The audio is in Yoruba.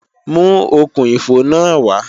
Mú okùn-ìfò náà wá!